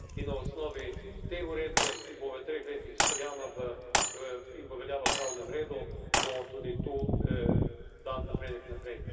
In na osnovi te uredbe, ki bo v treh letih izpeljana in bo veljala v pravnem redu, bo tudi tu dan napredek naprej.